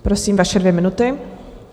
Prosím, vaše dvě minuty.